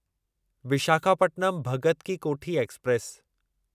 Visakhapatnam Bhagat ki Kothi express